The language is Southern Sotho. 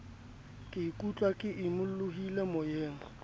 ke ikutlwa ke imolohile moyeng